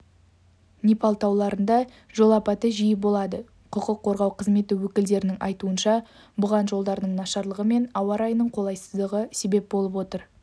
непал тауларында жол апаты жиі болады құқық қорғау қызметі өкілдерінің айтуынша бұған жолдардың нашарлығы мен ауа райының қолайсыздығы себеп болып отыр